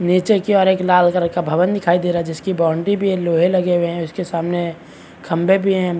नीचे की ओर एक लाल कलर का भवन दिखाई दे रहा है जिसकी बाउंड्री भी ये लोहै लगे हुए है उसके सामने खम्भे भी है।